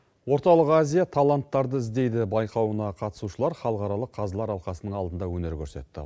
орталық азия таланттарды іздейді байқауына қатысушылар халықаралық қазылар алқасының алдында өнер көрсетті